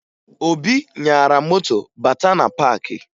Obi nyara moto bátá na paakị